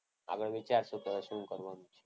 આગળ વિચારશું કે હવે શું કરવાનું છે.